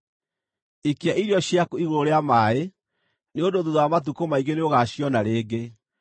Ikia irio ciaku igũrũ rĩa maaĩ, nĩ ũndũ thuutha wa matukũ maingĩ nĩũgaaciona rĩngĩ.